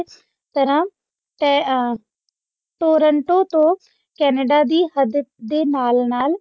ਤਰ੍ਹਾਂ ਤਹਿ ਆ ਤੋਰਨ ਤੋਂ ਤੋਹ Cenada ਦੇ ਹੱਦ ਦੇ ਨਾਲ ਨਾਲ